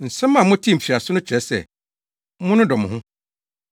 Nsɛm a motee mfiase no kyerɛ sɛ, monnodɔ mo ho.